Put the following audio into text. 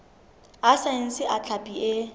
a saense a hlapi e